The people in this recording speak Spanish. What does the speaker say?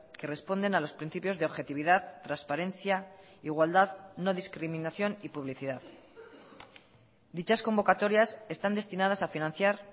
que responden a los principios de objetividad transparencia igualdad no discriminación y publicidad dichas convocatorias están destinadas a financiar